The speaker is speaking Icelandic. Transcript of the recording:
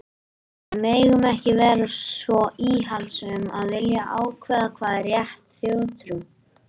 En við megum ekki vera svo íhaldssöm að vilja ákveða hvað er rétt þjóðtrú.